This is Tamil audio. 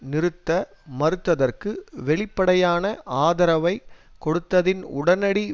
நிறுத்த மறுத்தற்கு வெளிப்படையான ஆதரவைக் கொடுத்ததின் உடனடி